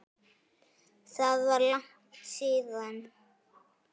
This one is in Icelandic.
Það var langt síðan.